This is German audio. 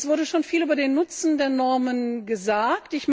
Es wurde schon viel über den Nutzen der Normen gesagt.